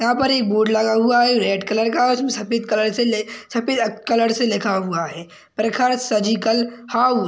यहाँ पर एक बोर्ड लगा हुआ है रेड कलर का उसमें सफेद कलर ल--सफेद अ--कलर से लिखा हुआ है प्रखर सर्जिकल हाउस --